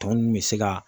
Tɔ ninnu bɛ se ka